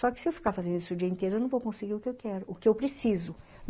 Só que se eu ficar fazendo isso o dia inteiro, eu não vou conseguir o que eu quero, o que eu preciso.